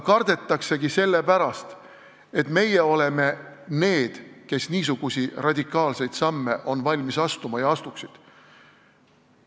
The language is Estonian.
Kardetakse sellepärast, et meie oleme need, kes niisuguseid radikaalseid samme on valmis astuma ja astuksid.